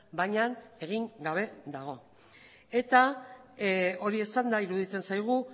baina egin gabe dago eta hori esanda iruditzen zaigu